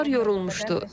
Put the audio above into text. Uşaqlar yorulmuşdu.